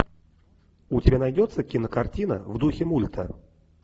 у тебя найдется кинокартина в духе мульта